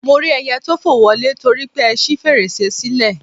Mo rí ẹyẹ tó fò wọlé torípé ṣí fèrèsé sílẹ̀